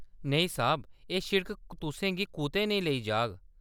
नेईं साह्‌‌ब। एह्‌‌ सिड़क तुसें गी कुतै नेईं लेई जाह्‌‌ग।